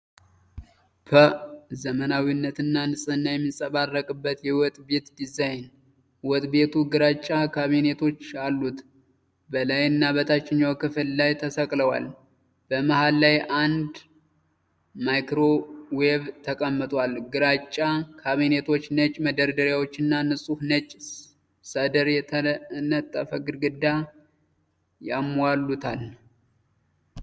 ፐ ዘመናዊነትና ንጽህና የሚንጸባረቅበት የወጥ ቤት ዲዛይን። ወጥ ቤቱ ግራጫ ካቢኔቶች አሉት፤ በላይና በታችኛው ክፍል ላይ ተሰቅለዋል። በመሃል ላይ አንድ ማይክሮዌቭ ተቀምጧል። ግራጫ ካቢኔቶች ነጭ መደርደሪያዎችና ንጹህ ነጭ ሰድር የተነጠፈ ግድግዳ ያሟሉታል።